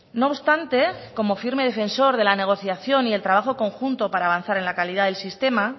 no obstante como firme defensor de la negociación y el trabajo conjunto para avanzar en la calidad del sistema